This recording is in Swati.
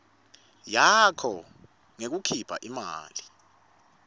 yakho ngekukhipha imali